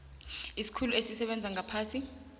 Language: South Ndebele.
isikhulu esisebenza ngaphasi